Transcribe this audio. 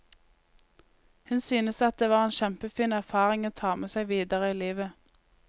Hun syntes at det var en kjempefin erfaring å ta med seg videre i livet.